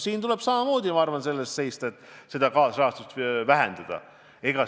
Siin tuleb samamoodi selle eest seista, et kaasrahastust vähendada.